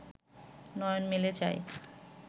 নয়ন মেলে চায়